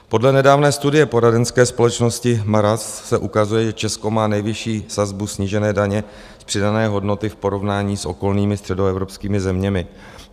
Podle nedávné studie poradenské společnosti Mazars se ukazuje, že Česko má nejvyšší sazbu snížené daně z přidané hodnoty v porovnání s okolními středoevropskými zeměmi.